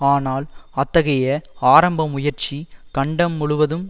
ஆனால் அத்தகைய ஆரம்ப முயற்சி கண்டம் முழுவதும்